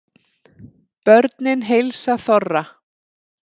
Börnin heilsa þorra